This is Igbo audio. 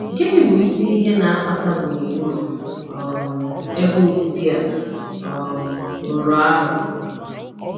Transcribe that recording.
Gịnị bụ isi ihe na-akpata gburugburu um ebe obibi a um rụrụ arụ?